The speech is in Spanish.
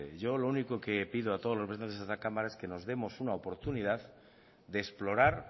yo lo único que pido a todos los miembros de esta cámara es que nos demos una oportunidad de explorar